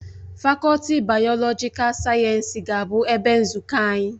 Fakọlti bayolojikal sayensị ga-abụ ebe nzukọ anyị